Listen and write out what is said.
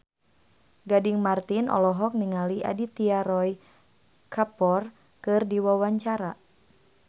Gading Marten olohok ningali Aditya Roy Kapoor keur diwawancara